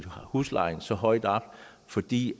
huslejen så højt op fordi